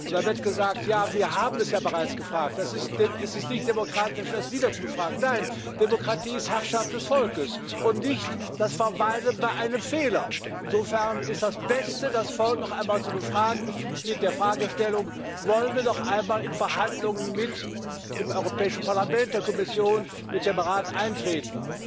Da wird gesagt Ja, wir haben es ja bereits gefragt, es ist nicht demokratisch, es wieder zu befragen. Nein! Demokratie ist Herrschaft des Volkes und nicht das Verweilen bei einem Fehler. Insofern ist es das Beste, das Volk noch einmal zu befragen mit der Fragestellung Wollen wir noch einmal in Verhandlungen mit dem Europäischen Parlament, mit der Kommission, mit dem Rat eintreten?